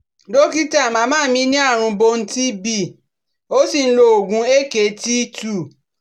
Dókítà, màmá mi ní àrùn bone TB ó sì ń lo oògùn AKT two